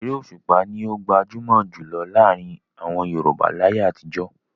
Eré Òṣùpá ni ó gbajúmọ̀ jù lọ láàrin àwọn Yorùbá láyé àtijọ́.